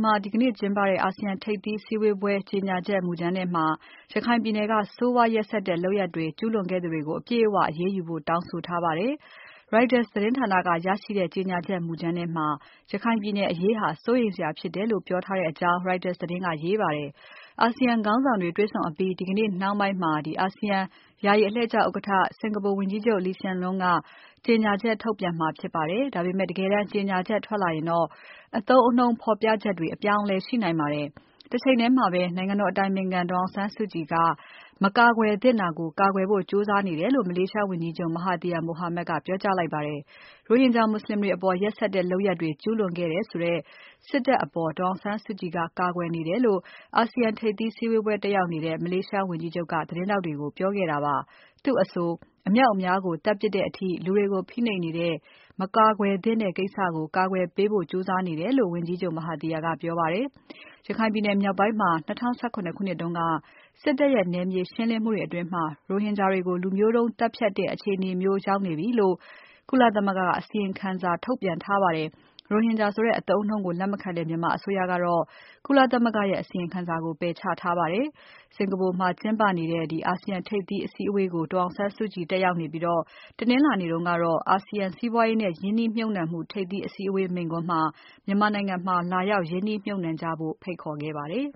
မှာ ဒီကနေ့ကျင်းပတဲ့ အာဆီယံထိပ်သီးစည်းဝေးပွဲ ကြေညာချက်မူကြမ်းထဲမှာ ရခိုင်ပြည်နယ်က ဆိုးဝါးရက်စက်တဲ့လုပ်ရပ်တွေ ကျူးလွန်ခဲ့သူတွေကို အပြည့်အဝအရေးယူဖို့ တောင်းဆိုထားပါတယ်။ Reuters သတင်းဌာနက ရရှိခဲ့တဲ့ ကြေညာချက် မူကြမ်းထဲမှာ ရခိုင်ပြည်နယ်အရေးဟာ စိုးရိမ်စရာဖြစ်တယ်လို့ ပြောထားကြောင်း Reuters သတင်းက ရေးပါတယ်။ အာဆီယံခေါင်းဆောင်တွေ တွေ့ဆုံအပြီး ဒီကနေ့ နှောင်းပိုင်းမှာ အာဆီယံ ယာယီအလှည့်ကျဥက္ကဋ္ဌ Singapore ဝန်ကြီးချုပ် Lee Hsien Loong က ကြေညာချက်ထုတ်ပြန်မှာဖြစ်ပါတယ်။ ဒါပေမဲ့ တကယ်တမ်း ကြေညာချက်ထွက်လာရင် အသုံးအနှုန်းဖော်ပြချက်တွေ အပြောင်းအလဲရှိနိုင်ပါတယ်။ တချိန်ထဲမှာပဲ နိုင်ငံတော်အတိုင်ပင်ခံ ဒေါ်အောင်ဆန်းစုကြည်က မကာကွယ်သင့်တာကို ကာကွယ်ဖို့ ကြိုးစားနေတယ်လို့ မလေးရှားဝန်ကြီးချုပ် Mahathir Mohamad ကပြောကြားခဲ့ပါတယ်။ ရိုဟင်ဂျာမွတ်ဆလင်တွေအပေါ် ရက်စက်တဲ့လုပ်ရပ်တွေ ကျူးလွန်ခဲ့တယ်ဆိုတဲ့ စစ်တပ်အပေါ် ဒေါ်အောင်ဆန်းစုကြည်က ကာကွယ်နေတယ်လို့ အာဆီယံ ထိပ်သီးစည်းဝေးပွဲတက်နေတဲ့ မလေးရှားဝန်ကြီးချုပ်က သတင်းထောက်တွေကို ပြောခဲ့တာပါ။ သူ့အဆို အမြောက်အများကို သတ်ပြစ်တဲ့အထိ လူတွေကို ဖိနှိပ်နေတဲ့၊ မကာကွယ်သင့်တဲ့ကိစ္စကို ကာကွယ်ပေးဖို့ ကြိုးစားနေတယ်လို့ ဝန်ကြီးချုပ် Mahathir က ပြောပါတယ်။ ရခိုင်ပြည်နယ်မြောက်ပိုင်းမှာ ၂၀၁၇ ခုနှစ်က စစ်တပ်ရဲ့ နယ်မြေရှင်းလင်းမှုတွေအတွင်း ရိုဟင်ဂျာတွေကို လူမျိုးတုန်းသတ်ဖြတ်တဲ့ အခြေအနေမျိုးရောက်နေပြီလို့ ကုလသမဂ္ဂက အစီရင်ခံစာထုတ်ပြန်ထားပါတယ်။ ရိုဟင်ဂျာဆိုတဲ့အသုံးအနှုန်းကို လက်မခံတဲ့ မြန်မာအစိုးရကတော့ ကုလသမဂ္ဂရဲ့ အစီရင်ခံစာကို ပယ်ချထားပါတယ်။ စင်္ကာပူမှာ ကျင်းပနေတဲ့ အာဆီယံထိပ်သီးစည်းဝေးပွဲကို ဒေါ်အောင်စုကြည်တက်ရောက်နေပြီး တနင်္လာနေ့တုန်းကတော့ အာဆီယံ စီးပွားရေးနဲ့ ရင်းနှီးမြှုပ်နှံမှု ထိပ်သီးအစည်းအဝေးမိန့်ခွန်းမှာ မြန်မာနိုင်ငံမှာလာရောက် ရင်းနှီးမြှုပ်နှံကြဖို့ ဖိတ်ခေါ်ထားပါတယ်